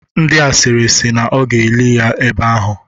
Ndị asịrị si na ọ ga-eli ya ebe ahụ.